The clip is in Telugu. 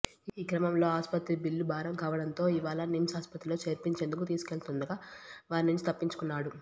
ఈ క్రమంలో ఆస్పత్రి బిల్లు భారం కావడంతో ఇవాళ నిమ్స్ ఆస్పత్రిలో చేర్పించేందుకు తీసుకెళ్తుండగా వారి నుంచి తప్పించుకున్నాడు